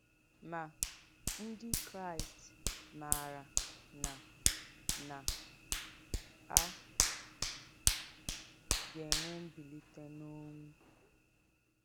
Mà, Ndí Kráìst mààrà nà nà à gà-ènwè m̀bìlítè n’ọ́nwú.